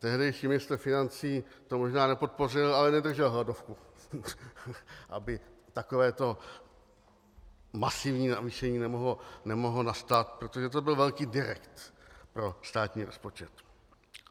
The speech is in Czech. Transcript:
Tehdejší ministr financí to možná nepodpořil, ale nedržel hladovku , aby takovéto masivní navýšení nemohlo nastat, protože to byl velký direkt pro státní rozpočet.